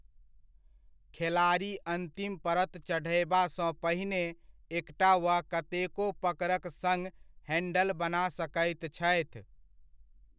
खेलाड़ी अन्तिम परत चढ़यबासँ पहिने एकटा वा कतेको पकड़क सङ्ग हैंडल बना सकैत छथि।